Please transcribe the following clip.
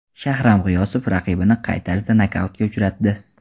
Shahram G‘iyosov raqibini qay tarzda nokautga uchratdi?